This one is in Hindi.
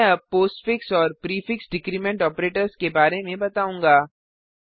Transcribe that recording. मैं अब पोस्टफिक्स और प्रीफिक्स डिक्रीमेंट ऑपरेटर्स के बारे में बताऊंगा